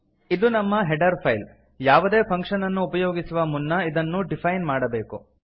ಇದು ನಮ್ಮ header file ಯಾವುದೇ ಫಂಕ್ಷನ್ ಅನ್ನು ಉಪಯೋಗಿಸುವ ಮುನ್ನ ಅದನ್ನು ಡಿಫೈನ್ ಮಾಡಬೇಕು